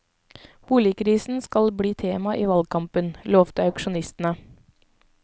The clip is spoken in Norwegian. Boligkrisen skal bli tema i valgkampen, lovte aksjonistene.